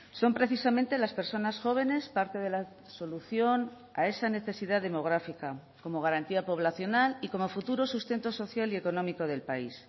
son precisamente las personas jóvenes parte de la solución a esa necesidad demográfica como garantía poblacional y como futuro sustento social y económico del país